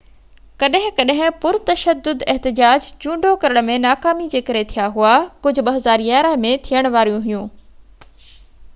ڪڏهن ڪڏهن پر تشدد احتجاج چونڊو ڪرڻ ۾ ناڪامي جي ڪري ٿيا هئا ڪجهہ 2011 ۾ ٿيڻ واريون هئيون